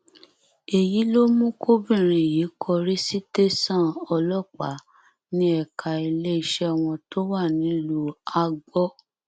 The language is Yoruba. èyí ló mú kọbìnrin yìí kọrí sí tẹsán ọlọpàá ní ẹka iléeṣẹ wọn tó wà nílùú agbor